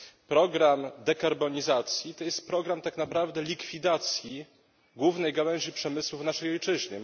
Program dekarbonizacji to jest program tak naprawdę likwidacji głównej gałęzi przemysłu w naszej ojczyźnie.